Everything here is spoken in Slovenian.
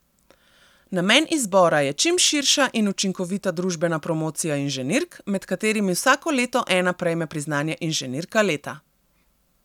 Namen izbora je čim širša in učinkovita družbena promocija inženirk, med katerimi vsako leto ena prejme priznanje Inženirka leta.